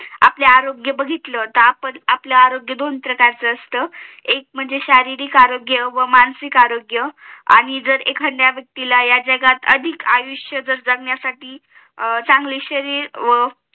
आपलं आरोग्य बघितलं म्हणजे आपला आरोग्य दोन प्रकारचअसत एक म्हणजे शारीरिक आरोग्य व मानसिक आरोग्य आणि जर एखाद्या व्यक्तीला या जागात अधिक आयुष्य जर जगाण्यासाठी अं चांगली शरीर